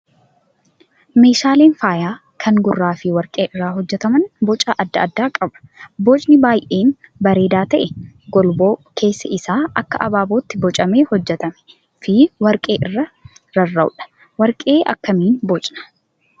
Meeshaaleen faayaa kan gurraa fi warqee irraa hojjataman boca adda addaa qaba. Bocni baay'ee bareedaa ta'e golboo keessi isaa akka abaabootti bocamee hojjatamee fi warqee irraa rarra'udha. Warqee akkamiin bocnaa?